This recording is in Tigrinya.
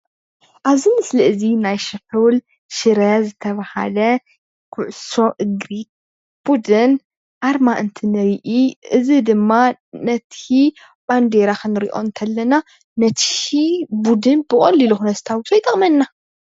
ኣብዚ ምስሊ እዚ ናይ ስሑል ሽረ ዝተባሃለ ኩዕሶ እግሪ ብዱን ኣርማ እንትንርኢ እዚ ድማ ነቲ ባንዴራ ክንርኦ ከለና ነቲ ቡድን ብቀሊሉ ክነስታውሶ ይጠቅመና፡፡